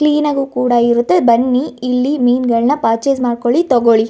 Clean ಆಗಿ ಕೂಡ ಇರುತ್ತೆ ಬನ್ನಿ ಇಲ್ಲಿ ಮೀನ್ ಗಳನ್ನಾ ಪರ್ಚೆಸ್ ಮಾಡಕೊಳ್ಳಿ ತೊಕೊಳ್ಳಿ.